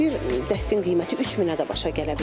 Bir dəstin qiyməti 3000-ə də başa gələ bilər.